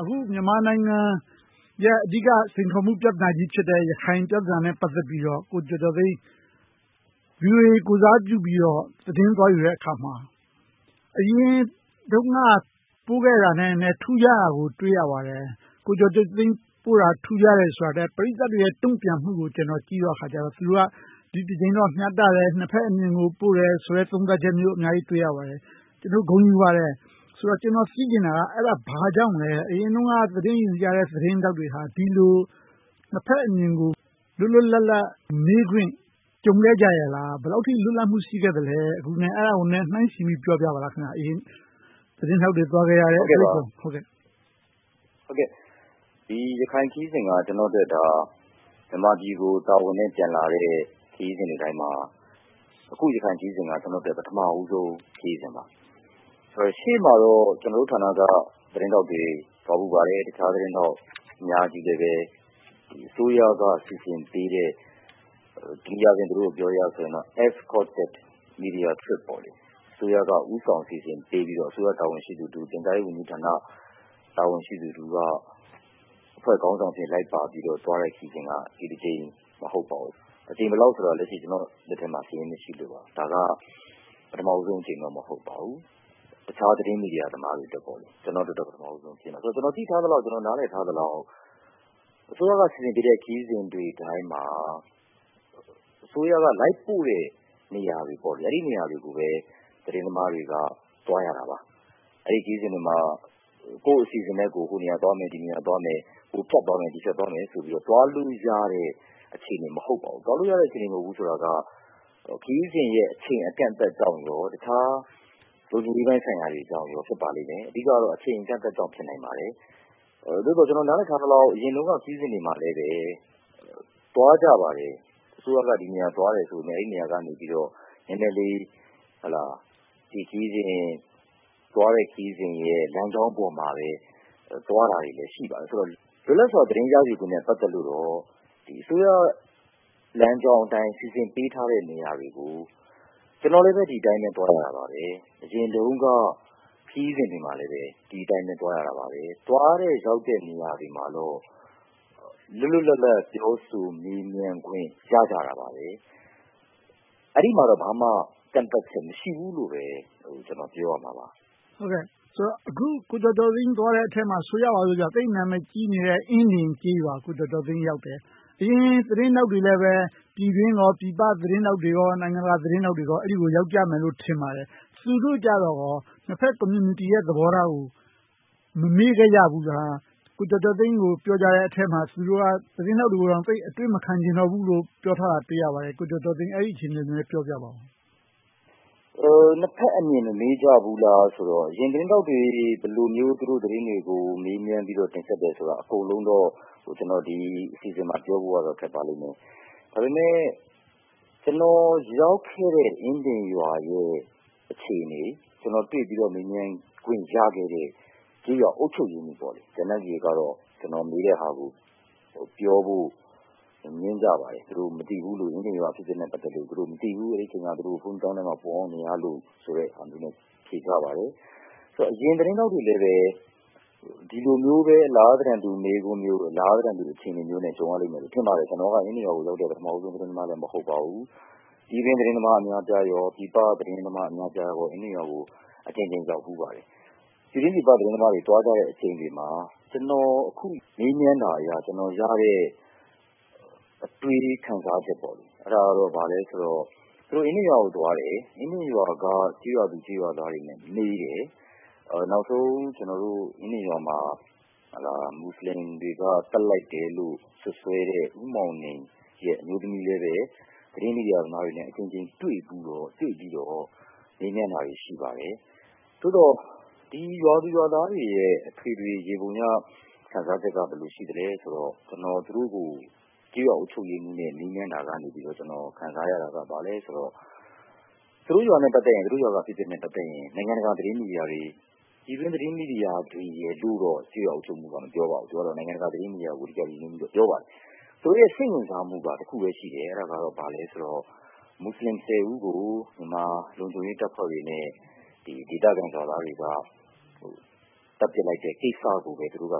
အခု မြန်မာနိုင်ငံရဲ့ အဓိကစိန်ခေါ်မှု ပြဿနာကြီးတခုဖြစ်တဲ့ ရခိုင်ပြဿနာနဲ့ ပတ်သက်ပြီးတော့ ကိုကျော်ကျော်သိန်း VOA ကိုယ်စားပြုပြီးတော့ သတင်းသွားယူတဲ့အခါမှာ အရင်တုန်းက ပို့ခဲ့တာနဲ့ထက် ထူးခြားတာကို တွေ့ရပါတယ်။ ကိုကျော်ကျော်သိန်း ပို့ခဲ့တာ ထူးခြားတာထက်၊ ပရိသတ်တွေရဲ့ တုံ့ပြန်မှုကို ကြည့်တဲ့အခါကြတော့ သူတို့က ဒီတကြိမ်တော့ မျှတတယ်၊ နှစ်ဘက်အမြင်ကို ပို့တယ်ဆိုတဲ့ သုံးသပ်ချက်မျိုးကို အများကြီးတွေ့ရပါတယ်။ ကျနော်တို့ ဂုဏ်ယူပါတယ်။ ဆိုတော့ ကျနော် သိချင်တာက အဲဒါ ဘာကြောင့်လဲ အရင်တုန်းက သတင်းယူကြတဲ့ သတင်းထောက်တွေက ဒီလို နှစ်ဘက်အမြင်ကို လွတ်လွတ်လပ်လပ် မေးခွင့်ကြုံခဲ့ကြရဲ့လား။ ဘယ်လောက်အထိ လွတ်လပ်မှု ရှိခဲ့သလဲ။ အဲဒီတွေကို နှိုင်းယှဉ်ပြီး ပြောပြပေးပါ။ အရင်သတင်းထောက်တွေ သွားခဲ့ရတဲ့ အတွေ့အကြုံ။ ရခိုင်ခရီးစဉ်က ကျနော်အတွက် မြန်မာနိုင်ငံကို တာဝန်နဲ့ပြန်လာတဲ့ ခရီးစဉ်တွေတိုင်းမှာ အခု ရခိုင်ခရီးစဉ်က ကျနော့်အတွက် ပထမဦးဆုံး ခရီးစဉ်ပါ။ ရှေ့မှာတော့ ကျနော်တို့ သတင်းဌာနက သတင်းထောက်တွေ သွားဖူးပါတယ်။ တခြားသတင်းထောက် အများကြီးလည်း အစိုးရက စီစဉ်ပေးတဲ့ တနည်းအားဖြင့်ပြောရရင်တော့ Government Sponsored Media Trip အစိုးရက ဦးဆောင်စီစဉ်ပြီးတော့ အစိုးရတာဝန်ရှိသူတဦး၊ ပြန်ကြားရေးဝန်ကြီးဌာန တာဝန်ရှိသူတဦးက အဖွဲ့ခေါင်းဆောင်အဖြစ် လိုက်ပါပြီးတော့သွားတဲ့ ခရီးစဉ်က ဒီတကြိမ်မဟုတ်ပါဘူး။ အကြိမ်ဘယ်လောက်ရှိပြီဆိုတာ ကျနော်လက်ထက်မှာ စာရင်းမရှိလို့ပါ။ ဒါကတော့ ပထမဦးဆုံးအကြိမ်တော့ မဟုတ်ပါဘူး။ တခြားသတင်းသမားမီဒီယာတွေအတွက်တော့ပေါ့။ ကျနော့်အတွက်တော့ ပထမဦးဆုံးအကြိမ်ပါ။ ကျနော် သိထားသလောက်၊ နားလည်ထားသလောက် အစိုးရက စီစဉ်ပေးတဲ့ ခရီးစဉ်တိုင်းမှာ အစိုးရက လိုက်ပို့တဲ့နေရာတွေကိုပဲ သတင်းသမားတွေက သွားရတာပါ။ အဲဒီခရီးစဉ်တွေမှာ ကိုယ့်အစီအစဉ်နဲ့ကိုယ် ဟိုနေရာသွားမယ်၊ ဒီနေရာသွားမယ်၊ ဟိုဖြတ်သွားမယ်၊ ဒီဖြတ်သွားမယ်ဆိုပြီတော့ သွားလို့ရတဲ့ အခြေအနေ မဟုတ်ပါဘူး။ သွားလို့ရတဲ့ အခြေအနေ မဟုတ်ဘူးဆိုတာက ခရီးစဉ်ရဲ့ အချိန်အကန့်ကြောင့်နဲ့ တခြားလုံခြုံရေးပိုင်ဆိုင်ရာကြောင့်လည်း ဖြစ်ပါတယ်။ အဓိကတော့ အချိန်အကန့်ကြောင့်လဲ ဖြစ်နိုင်ပါတယ်။ သို့သော် ကျနော် နားလည်ထားသလောက်တော့ အရင်တုန်းက ခရီးစဉ်တွေမှာလည်း သွားကြပါတယ်။ အစိုးရက ဒီနေရာသွားတယ်ဆိုပေမယ့်လဲ အဲဒီနေရာကနေ နည်းနည်းလေး သွားတဲ့ခရီးစဉ်ရဲ့ လမ်းကြောင်းပေါ်မှာပဲသွားတာတွေ ရှိပါတယ်။ လွတ်လပ်စွာ သတင်းရယူခွင့်နဲ့ ပတ်သက်လို့တော့ အစိုးရလမ်းကြောင်းအတိုင်း စီစဉ်ပေးထားတဲ့ နေရာတွေကို ကျနော်လည်းပဲ ဒီအတိုင်းပဲ သွားခဲ့တာပါ။ အရင်တုန်းက ခရီးစဉ်တွေမှာလဲ ဒီအတိုင်းသွားကြတယ်။ သွားတဲ့ရောက်တဲ့ နေရာတွေမှာတော့ လွတ်လွတ်လပ်လပ် ပြောဆိုမေးမြန်းခွင့် ရကြပါတယ်။ အဲဒီမှာတော့ ဘာမှကန့်သတ်ချက် မရှိဘူးလို့ပဲ ကျနော် ပြောရမှာပါ။ ဆိုတော့ အခု ကိုကျော်ကျော်သိန်းတို့သွားတဲ့အထဲမှာ ဆိုကြပါစို့ သိပ်နာမည်ကြီးနေတဲ့ အင်းဒင်ကျေးရွာ ကိုကျော်ကျော်သိန်း ရောက်တယ်။ အရင်သတင်းထောက်တွေ ပြည်တွင်းပြည်ပ သတင်းထောက်တွေ၊ နိုင်ငံတကာသတင်းထောက်တွေလည်း အဲဒီကို ရောက်ကြမယ်လို့ ထင်ပါတယ်။ သူတို့ကြတော့ကော နှစ်ဘက်ကွန်မြူနီတီရဲ့ သဘောထားကို မမေးခဲ့ကြဘူးလား။ ကိုကျော်ကျော်သိန်းကို ပြောကြတဲ့အထဲမှာ သူတို့က သတင်းထောက်တွေကို သိပ်အတွေ့မခံချင်ကြတော့ဘူးလို့ ပြောထားတာ တွေ့ရပါတယ်။ အဲဒါကို နည်းနည်းပြောပြပါ။ နှစ်ဘက်အမြင် မမေးကြဘူးလားဆိုတော့ အရင်သတင်းထောက်တွေ ဘယ်လိုမျိုး သတင်းတွေကို မေးမြန်းပြီး တင်ဆက်တယ်ဆိုတာကို အကုန်လုံးတော့ ကျနော် ဒီအစီအစဉ်မှာ ပြောဖို့ကတော့ ခက်ပါလိမ့်မယ်။ ဒါပေမဲ့ ကျနော်ရောက်ခဲ့တဲ့ အင်းဒင်ရွာရဲ့ အခြေအနေ၊ ကျနော်တွေ့ပြီးတော့ မေးမြန်းခွင့် ရခဲ့တဲ့ ကျေးရွာအုပ်ချုပ်ရေးမှူး၊ ကျန်တဲ့လူတွေကတော့ ကျနော် မေးတဲ့ဟာကို ပြောဆိုဖို့ ငြင်းကြပါတယ်။ သူတို့အနေနဲ့ အင်းဒင်ရွာအဖြစ်အပျက်နဲ့ ပတ်သက်လို့ မသိကြဘူး။ အဲဒီအချိန်မှာ ဘုန်းကြီးကျောင်းထဲမှာ ပုန်းအောင်းနေကြတယ်လို့ ဖြေကြပါတယ်။ အရင်သတင်းထောက်တွေလဲပဲ ဒီလိုမျိုးပဲ အလားသဏ္ဍာန်တူ မေးခွန်းမျိုး၊ အလားသဏ္ဍာန်တူ အခြေအနေမျိုးနဲ့ ကြုံရလိမ့်မယ်လို့ ထင်ပါတယ်။ ကျနော်က အင်းဒင်ရွာကိုရောက်တဲ့ ပထမဦးဆုံး သတင်းသမားလည်း မဟုတ်ပါဘူး။ ပြည်တွင်းသတင်းသမား အများအပြားနဲ့ ပြည်ပသတင်းသမား အများအပြားတို့ အင်းဒင်ရွာကို အကြိမ်ကြိမ်ရောက်ဖူးကြပါတယ်။ ပြည်တွင်းပြည်ပ သတင်းသမားတွေ သွားကြတဲ့အကြိမ်တွေမှာ ကျနော်မေးမြန်းတာအရ၊ ကျနော်ရတဲ့ အတွေးခံစားချက်က ဘာလဲဆိုတော့ သူတို့အင်းဒင်ရွာကိုသွားတယ်။ အင်းဒင်ရွာက ကျေးရွာသူကျေးရွာသားတွေနဲ့ မေးတယ်။ နောက်ဆုံး အင်းဒင်ရွာမှာ မူစလင်တွေက သတ်လိုက်တယ်လို့ စွပ်စွဲတဲ့ ဦးမောင်နင်ရဲ့ အမျိုးသမီးလည်းပဲ သတင်းမီဒီယာသမားတွေနဲ့ အကြိမ်ကြိမ်တွေ့ဖူး၊ တွေ့ပြီးတော့ မေးမြန်းတာတွေ ရှိပါတယ်။ သို့သော် ဒီရွာသူရွာသားတွေရဲ့ အထွေထွေယေဘုယျ ခံစားချက်က ဘယ်လိုရှိသလဲဆိုတော့ ကျနော် ကျေးရွာအုပ်ချုပ်ရေးမှူးနဲ့ မေးမြန်းတာကနေ ခံစားရတာက ဘာလဲဆိုတော့ သူတို့ရွာက အဖြစ်အပျက်နဲ့ ပတ်သက်ရင် နိုင်ငံတကာသတင်းမီဒီယာတွေ၊ ပြည်တွင်းသတင်းမီဒီယာတွေလိုတော့ ကျေးရွာအုပ်ချုပ်ရေးမှူးက မပြောပါဘူး။ သူက နိုင်ငံတကာသတင်းမီဒီယာကို အဓိကပြောပါတယ်။ သူတို့ရဲ့ စိတ်ဝင်စားမှုက တခုပဲရှိတယ်။ အဲဒါက ဘာလဲဆိုတော့ မူစလင် ဦးကို မြန်မာလုံခြုံရေးတပ်နဲ့ ဒေသခံရွာသားတွေ သတ်ပြစ်လိုက်တဲ့ကိစ္စကိုပဲ စိတ်ဝင်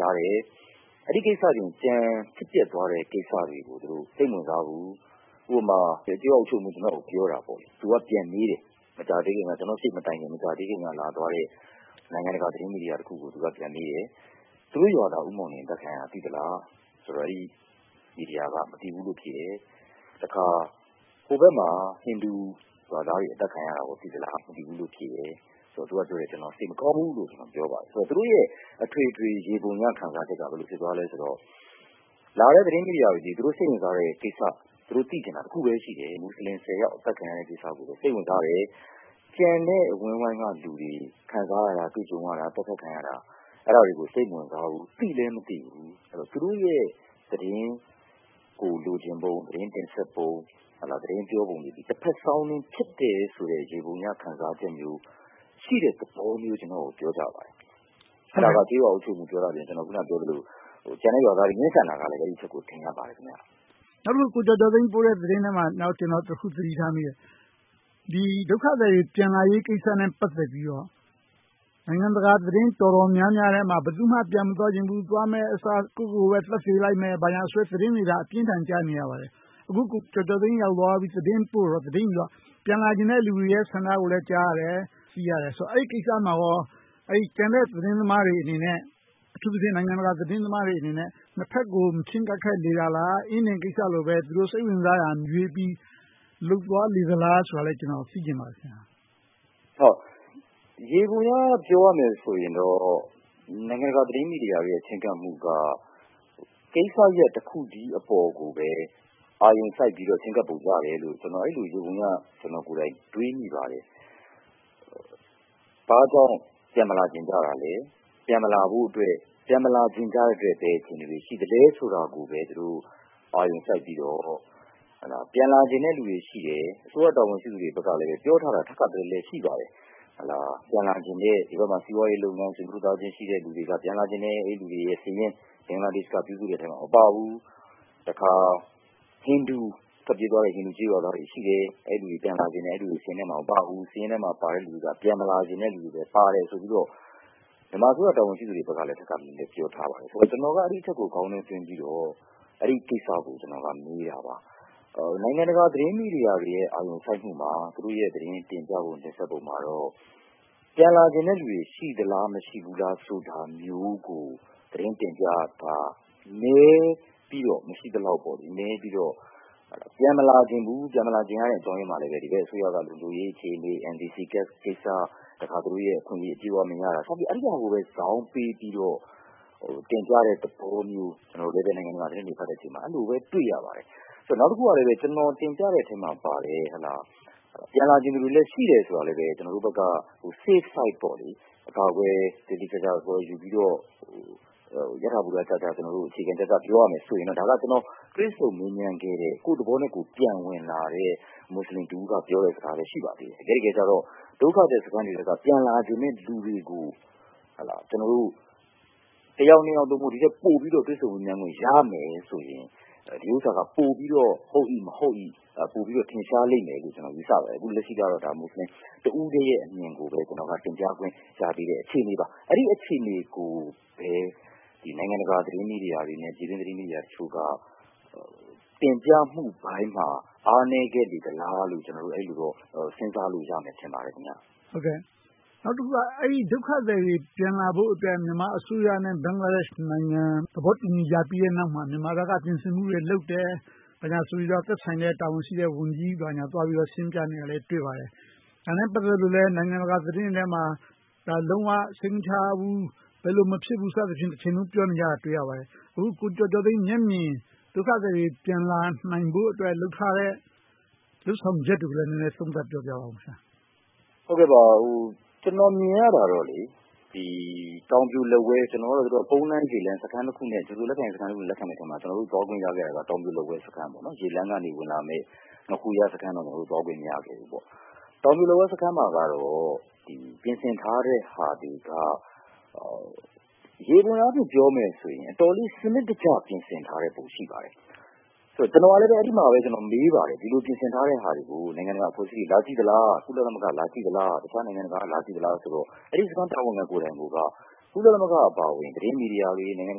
စားတယ်။ အဲဒီကိစ္စအပြင် ကျန်ဖြစ်ပျက်သွားတဲ့ ကိစ္စတွေကို စိတ်မဝင်စားဘူး။ ဥပမာ ကျေးရွာအုပ်ချုပ်ရေးမှူး ကျနော်ကို ပြောတာက သူက ပြန်မေးတယ်။ ကျနော်ရှေ့မတိုင်ခင် လာသွားခဲ့တဲ့ နိုင်ငံတကာသတင်းမီဒီယာတခုကို သူက ပြန်မေးတယ် - သူတို့ရွာသား ဦးမောင်နင် အသတ်ခံရတာ သိသလား။ ဆိုတော့ အဲဒီမီဒီယာက မသိဘူးလို့ ဖြေတယ်။ တခါ ဟိုဘက်မှာ ဟိန္ဒူရွာသားတွေ အသတ်ခံရတာ သိသလားဆိုတော့ မသိဘူးလို့ဖြေတယ်။ သူကပြောတယ် စိတ်မကောင်းဘူးလို့ ပြောပါတယ်။ ဆိုတော့ သူတို့ရဲ့ အထွေထွေခံစားချက်က ဘယ်လိုဖြစ်သွားသလဲဆိုတော့ လာတဲ့သတင်းမီဒီယာတွေက သူတို့စိတ်ဝင်စားတဲ့ကိစ္စ၊ သူတို့သိချင်တာတခုပဲ ရှိတယ်။ မူစလင် အသတ်ခံရတဲ့ကိစ္စကိုပဲ စိတ်ဝင်စားတယ်။ ကျန်တဲ့အဝန်းအဝိုင်းကလူတွေ ခံစားရတာ၊ သတ်ဖြတ်ခံရတာတွေကို စိတ်မဝင်စားဘူး။ သိလဲမသိဘူး။ သူတို့ရဲ့ သတင်းကိုလိုချင်ပုံ၊ တင်ပြပုံ၊ သတင်းပြောပုံတွေက တဘက်စောင်းနင်းဖြစ်တယ်ဆိုတဲ့ ယေဘုယျအမြင် ခံစားချက်မျိုးရှိတဲ့ သဘောမျိုး ကျနော်ကို ပြောကြပါတယ်။ အဲဒါက ကျေးရွာအုပ်ချုပ်ရေးမှူး ပြောသလို၊ အခုနပြောသလို ကျန်တဲ့ရွာသားတွေ ငြင်းဆန်တာကလဲ အဲဒီအချက်ကို ထင်ဟပ်ပါတယ်။ နောက်တခု ကိုကျော်ကျော်သိန်းပို့တဲ့သတင်းထဲမှာ နောက်တခု သတိထားမိတာက ဒုက္ခသည်တွေ ပြန်လာရေးကိစ္စနဲ့ ပတ်သက်လို့ နိုင်ငံတကာသတင်းတော်တော်များများထဲမှာ ဘယ်သူမှ ပြန်မသွားချင်ဘူး။ ပြန်မယ့်အစား ကိုယ့်ကိုယ်ကိုပဲ သတ်သေပြစ်မယ်ဆိုတဲ့ သတင်းမျိုးတွေပဲ အပြင်းအထန် ကြားနေရပါတယ်။ အခု ကိုကျော်ကျော်သိန်း ရောက်သွားပြီး သတင်းယူ၊ သတင်းပို့တော့ ပြန်လာချင်တဲ့လူတွေရဲ့ ဆန္ဒကိုလည်း ကြားသိရတယ်။ အဲဒီကိစ္စမှာကော ကျန်တဲ့သတင်းသမားတွေအနေနဲ့ အထူးသဖြင့် နိုင်ငံတကာသတင်းသမားတွေအနေနဲ့ နှစ်ဘက်ကို မချဉ်းကပ်ခဲ့တာလား။ အင်းဒင်ရွာကိစ္စလိုပဲ သူတို့စိတ်ဝင်စားတာကိုမေးပြီး လုပ်သွားလေသလားဆိုတာကို ကျနော် သိချင်ပါတယ်။ ယေဘုယျပြောရမယ်ဆိုရင်တော့ နိုင်ငံတကာသတင်းမီဒီယာတွေရဲ့ ချဉ်းကပ်မှုက ကိစ္စရပ်တခုတည်းကိုပဲ အာရုံစိုက်ပြီးတော့ ချဉ်းကပ်ကြတယ်လို့ ကျနော် အဲဒီလိုပဲ တွေးမိပါတယ်။ ဘာကြောင့် ပြန်မလာချင်ကြတာလဲ။ ပြန်မလာချင်ကြလိုတဲ့ ဘယ်လိုအခြေအနေတွေ ရှိကြသလဲဆိုတာကိုပဲ သူတို့အာရုံစိုက်ပြီးတော့၊ ပြန်လာချင်ကြတဲ့လူတွေရှိတယ်ဆိုတာကို အစိုးရတာဝန်ရှိသူတွေဘက်ကလည်း ပြောထားတာ ထပ်ခါတလဲလဲ ရှိကြပါတယ်။ ဒီဘက်မှာ စီးပွားရေးလုပ်ငန်း၊ ဆွေမျိုးသားချင်း ရှိကြတဲ့လူတွေက ပြန်လာချင်တယ်။ အဲဒီလူတွေရဲ့စာရင်း ဘင်္ဂလားဒေ့ရှ်က ပြုစုတဲ့စာရင်းထဲမှာ မပါဘူး။ တခါ ထွက်ပြေးသွားကြတဲ့ ဟိန္ဒူအုပ်စုတွေ ရှိတယ်။ အဲဒီလူတွေ ပြန်လာချင်တယ်။ အဲဒီလူတွေ စာရင်းထဲမှာ မပါဘူး။ စာရင်းထဲမှာပါတဲ့ လူတွေက ပြန်မလာချင်ကြတဲ့ လူတွေပဲပါတယ်ဆိုပြီတော့ မြန်မာအစိုးရဘက်က တာဝန်ရှိသူတွေကလဲ ထပ်ခါတလဲလဲ ပြောထားပါတယ်။ ကျနော်က အဲဒီအချက်ကို ခေါင်းထဲသွင်းပြီးတော့ အဲဒီကိစ္စကို မေးတာပါ။ နိုင်ငံတကာသတင်းမီဒီယာတွေရဲ့ အာရုံစိုက်မှုမှာ သူတို့ရဲ့ သတင်းတင်ပြပုံ၊ တင်ဆက်မှုမှာတော့ ပြန်လာချင်တဲ့လူတွေ ရှိသလား၊ မရှိဘူးလား ဆိုတာမျိုးကို သတင်းတင်ပြတာ နည်းပြီးတော့ မရှိသလောက်ပါ။ နည်းပြီးတော့ ပြန်မလာချင်ကြဘူး။ ပြန်မလာချင်ကြတဲ့ အကြောင်းရင်းမှာလဲ ဒီဘက်အစိုးရက လုံခြုံရေးအခြေအနေ၊ နိုင်ငံသားကဒ်ကိစ္စ၊ တခါ သူတို့ရဲ့ အခွင့်အရေး အပြည့်အဝမရတာ စသဖြင့် အဲဒါကိုဇောင်းပေးပြီးတော့ တင်ပြတဲ့သဘောမျိုး ကျနော်တို့လဲ နိုင်ငံတကာသတင်းတွေဖတ်တဲ့အချိန်မှာ အဲဒီလိုမျိုးပဲ တွေ့ရပါတယ်။ နောက်တခုက ကျနော်တင်ပြတဲ့အထဲမှာပါတဲ့ ပြန်လာချင်ကြတဲ့လူတွေလည်း ရှိတယ်ဆိုတာလဲ ကျနော်တို့ဘက်က Safe Side အကာအကွယ် သေသေချာချာယူပြီးတော့ ယထာဘူတ အခြေခံကျကျက ပြောရမယ်ဆိုရင်တော့ ကျနော် တွေ့ဆုံမေးမြန်းခဲ့တဲ့ ကိုယ့်သဘောနဲ့ကိုယ် ပြန်ဝင်လာတဲ့ မူစလင်တဦးကပြောတဲ့ စကားလည်း ရှိပါသေးတယ်။ တကယ့်တကယ်ကြတော့ ဒုက္ခသည်စခန်းတွေထဲက ပြန်လာချင်ကြတဲ့လူတွေကို ကျနော်တို့ တယောက်နှစ်ယောက်ထက် ဒီထက်ပိုတွေ့ဆုံမေးမြန်းခွင့် ရမယ်ဆိုရင် ပိုပြီးတော့ ဒီကိစ္စက ဟုတ်မဟုတ်ကို ပိုပြီးတော့ ထင်ရှားလိမ့်မယ်လို့ ကျနော် ယူဆပါတယ်။ အခုလက်ရှိကတော့ မူစလင်တဦးထဲရဲ့အမြင်ကိုပဲ ကျနော်က တင်ပြခွင့်ရသေးတဲ့ အခြေအနေပါ။ အဲဒီအခြေအနေကိုပဲ နိုင်ငံတကာသတင်းမီဒီယာတွေနဲ့ ပြည်တွင်းသတင်းမီဒီယာတွေတချို့က တင်ပြမှုပိုင်းမှာ အားနည်းခဲ့လေသလားလို့ အဲဒီလိုတော့ စဉ်းစားလို့ရမယ် ထင်ပါတယ်။ နောက်တခုက ဒုက္ခသည်တွေ ပြန်လာဖို့အတွက် မြန်မာအစိုးရနဲ့ ဘင်္ဂလားဒေ့ရှ် အစိုးရတို့ သဘောတူညီမှု ရပြီးတဲ့နောက်မှာ မြန်မာဘက်က ပြင်ဆင်မှုတွေလုပ်တယ်ဆိုပြီးတော့ သက်ဆိုင်ရာ တာဝန်ရှိတဲ့ဝန်ကြီး သွားပြီးတော့ ရှင်းပြနေတာလဲ တွေ့ပါတယ်။ ဒါနဲ့ပတ်သက်လို့လဲ နိုင်ငံတကာသတင်းတွေထဲမှာ ဒါက လုံးဝစိတ်မချရဘူး၊ ဘယ်လို မဖြစ်ဘူးလို့ တချိန်လုံးပြောနေကြတာကို တွေ့ရပါတယ်။ အခု ကိုကျော်ကျော်သိန်း မျက်မြင် ဒုက္ခသည်တွေ ပြန်လာဖို့အတွက် လုပ်ထားတဲ့လုပ်ဆောင်ချက်တွေကိုလည်း နည်းနည်းသုံးသပ်ပြပါ။ ကျနော်မြင်ရတာတော့ တောင်ပြိုလက်ဝဲ ကုန်လမ်း၊ ရေလမ်း စခန်းနှစ်ခုနဲ့ လက်ခံဖို့ စီစဉ်ထားတဲ့အထဲမှာ ကျနော်တို့ သွားခွင့်ရခဲ့တာ တောင်ပြိုလက်ဝဲစခန်း။ ရေလမ်းကနေ ဝင်လာမယ့် ငါးခူရ စခန်းတော့ သွားခွင့်မရခဲ့ဘူး။ တောင်ပြိုလက်ဝဲစခန်းမှာတော့ ပြင်ဆင်ထားတဲ့အရာတွေက ယေဘုယျအားဖြင့် ပြောရမယ်ဆိုရင်တော့ တော်တော်လေး စနစ်တကျ ပြင်ဆင်ထားပုံ ရှိပါတယ်။ အဲဒီမှာ ကျနော် မေးပါတယ် ဒီလိုပြင်ဆင်ထားတဲ့ဟာတွေကို နိုင်ငံတကာအဖွဲ့အစည်းတွေ လာကြည့်သလား။ ကုလသမဂ္ဂ လာကြည့်သလား၊ တခြားနိုင်ငံတကာက လာကြည့်သလားဆိုတော့ အဲဒီစခန်း တာဝန်ခံကိုယ်တိုင်ကိုက ကုလသမဂ္ဂအပါအဝင် သတင်းမီဒီယာတွေ၊ နိုင်ငံတ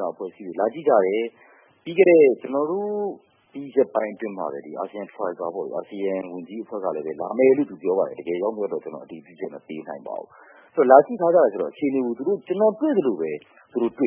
ကာအဖွဲ့အစည်းတွေ လာကြည့်ကြတယ်။ ကျနော်တို့ သွားပြီးရက်ပိုင်းအတွင်းမှာပဲ အာဆီယံဝန်ကြီးအဖွဲ့လည်း လာကြည့်ကြမယ်လို့ ပြောပါတယ်။ တကယ်ရောက်မရောက်တော့ ကျနော် အတည်ပြုချက် မပေးနိုင်ပါဘူး။ ဆိုတော့ လာကြည့်ကြရင်တော့ ကျနော် တွေ့သလိုပဲ သူတို့ တွေ့